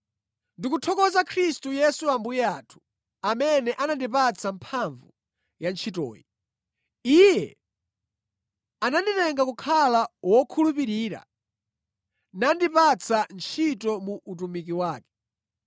Ndikuthokoza Khristu Yesu Ambuye athu, amene anandipatsa mphamvu pa ntchitoyi. Iye ananditenga kukhala wokhulupirira, nandipatsa ntchito mu utumiki wake.